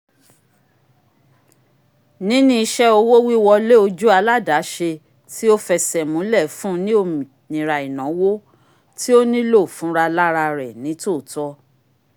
nini iṣẹ owo-wiwọle ojú aladaṣé tio f'ẹsẹ múlẹ fún ní ominira inawo ti o nìlo fún ra lárà rẹ nitootọ